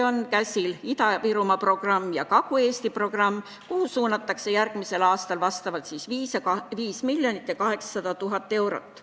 Käsil on Ida-Virumaa programm ja Kagu-Eesti programm, kuhu suunatakse järgmisel aastal 5 800 000 eurot.